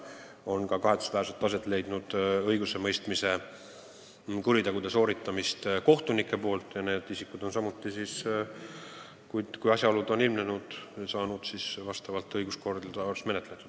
Kahetsusväärselt on ette tulnud ka kohtunike kuritegusid ja kui need asjaolud on ilmnenud, siis on need juhtumid saanud vastavalt õiguskorrale menetletud.